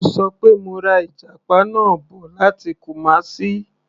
Mo ṣọ pé mo ra ìjàpá náà bọ̀ láti Kumasi.